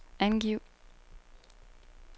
angiv